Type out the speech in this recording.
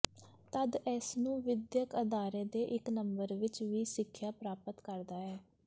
ਤਦ ਇਸ ਨੂੰ ਵਿਦਿਅਕ ਅਦਾਰੇ ਦੇ ਇੱਕ ਨੰਬਰ ਵਿੱਚ ਵੀ ਸਿੱਖਿਆ ਪ੍ਰਾਪਤ ਕਰਦਾ ਹੈ